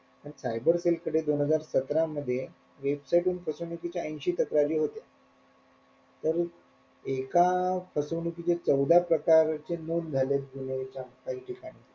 आणि cyber cell च्या इकडे दोन हजार सतरा मध्ये website वरून फसवणुकीच्या ऐन्शी तक्रारी होत्या तर एका फसवणुकीचे चौदा प्रकार चे नोंद झाली